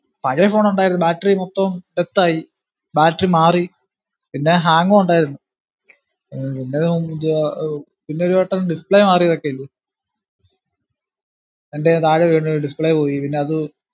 പഴയ phone ഉണ്ടാർന്നു battery മൊത്തം ആയി battery മാറി പിന്നെ hang ഉം ഉണ്ടാർന്നു ഉം പിന്നെയത് ഒന്നും ചെയ്യാ ഉം അഹ് പിന്നെ ഒരുവട്ടം display മാറിയതൊക്കെ ഉണ്ട് . എന്റയിന്ന് താഴെ വീണ് display പോയി, പിന്നെ അത്